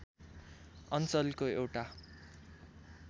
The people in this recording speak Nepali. अञ्चलको एउटा